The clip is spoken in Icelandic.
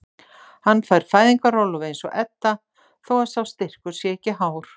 Hann fær fæðingarorlof eins og Edda þó að sá styrkur sé ekki hár.